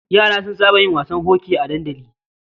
Yara sun saba yin wasan hoki a dandali.